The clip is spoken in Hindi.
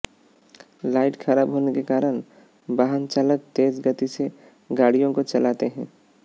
लाइट खराब होने के कारण वाहन चालक तेज गति से गाड़ियों को चलाते हैं